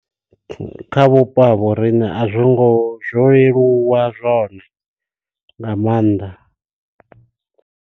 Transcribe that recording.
Kha vhupo ha vho riṋe a zwo ngo zwo leluwa zwone nga maanḓa.